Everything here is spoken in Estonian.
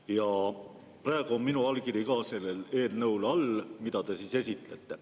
Ja praegu on minu allkiri ka selle eelnõu all, mida te esitlete.